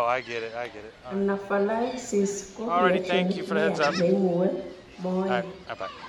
Anaphylaxis ko reactionit neyaa neimuee sobeet